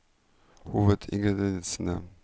hovedingrediensene